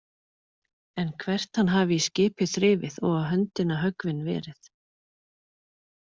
En hvert hann hafi í skipið þrifið og á höndina höggvinn verið.